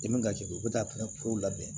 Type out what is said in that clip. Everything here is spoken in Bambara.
I man ka jigin u bɛ taa pɛrɛnw labɛn